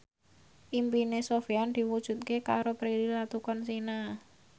impine Sofyan diwujudke karo Prilly Latuconsina